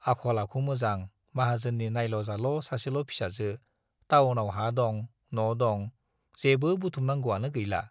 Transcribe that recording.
आखल-आखु मोजां, माहाजोननि नाइल'-जाल' सासेल' फिसाजो, टाउनाव हा दं, न' दं, जेबो बुथुमनांगौआनो गैला।